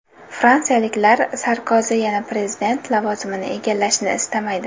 Fransiyaliklar Sarkozi yana prezident lavozimini egallashini istamaydi.